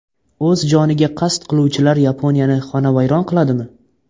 O‘z joniga qasd qiluvchilar Yaponiyani xonavayron qiladimi?.